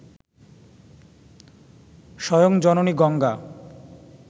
স্বয়ং জননী গঙ্গা